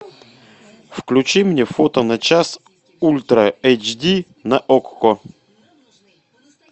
включи мне фото на час ультра эйч ди на окко